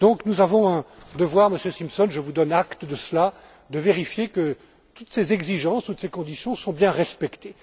Nous avons un devoir, Monsieur Simpson, je vous donne acte de cela, de vérifier que toutes ces exigences, toutes ces conditions sont bien respectées.